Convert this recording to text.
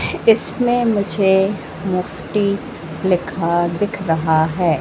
इसमें मुझे मोक्ती लिखा दिख रहा है।